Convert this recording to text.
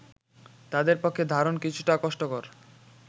তাদের পক্ষে ধারণ কিছুটা কষ্টকর